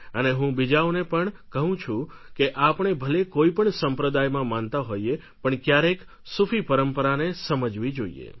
અને હું બીજાઓને પણ કહું છું કે આપણે ભલે કોઈપણ સંપ્રદાયમાં માનતા હોઈએ પણ ક્યારેક સૂફી પરંપરાને સમજવી જોઈએ